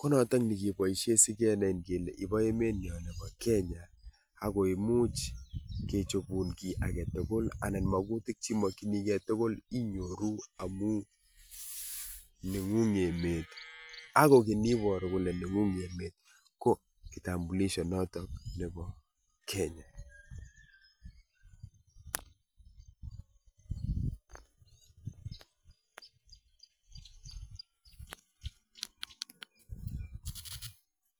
konotok nekeboisie sigenain kele ibo emet nyo nebo Kenya agoimuch kechobun kiy age tugul anan magutik chi makyinigei tugul inyoru amu neng'ung emet ago kiy neboru kole neng'ung emet ko kitambulisho notok nebo Kenya.